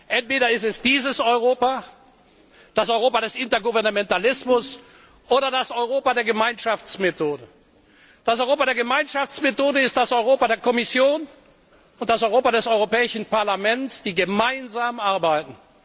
Entweder ist es dieses Europa, das Europa des Intergouvernementalismus, oder das Europa der Gemeinschaftsmethode. Das Europa der Gemeinschaftsmethode ist das Europa der Kommission und das Europa des Europäischen Parlaments, die gemeinsam arbeiten.